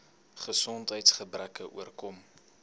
gesondheids gebreke oorkom